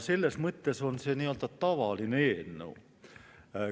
Selles mõttes on see tavaline eelnõu.